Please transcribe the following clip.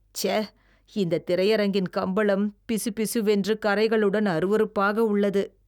சே! இந்தத் திரையரங்கின் கம்பளம் பிசுபிசுவென்று கறைகளுடன் அருவருப்பாக உள்ளது.